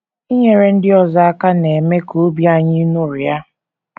Inyere ndị ọzọ aka na - eme ka obi anyị ṅụrịa.